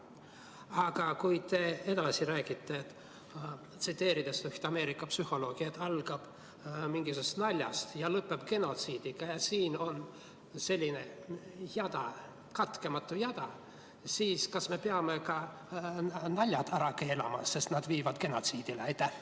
Aga kui te edasi räägite, tsiteerides üht Ameerika psühholoogi, et kõik algab mingisugusest naljast ja lõpeb genotsiidiga, nii et tekib selline jada, katkematu jada, siis kas me peame ka naljad ära keelama, sest need viivad genotsiidini?